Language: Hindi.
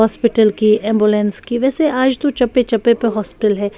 हॉस्पिटल की एंबुलेंस की वैसे आज तो चप्पे-चप्पे पे हॉस्पिटल है।